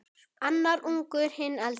Annar ungur, hinn eldri.